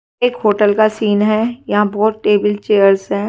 एक होटल का सीन है यहाँ बहुत टेबल चेयर्स है।